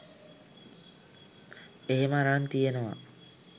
එහෙම අරන් තියෙනව